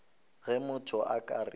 ge motho a ka re